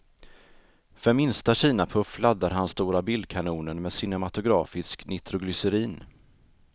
För minsta kinapuff laddar han stora bildkanonen med cinematografisk nitroglycerin.